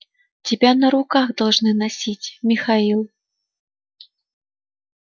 тебя на руках должны носить михаил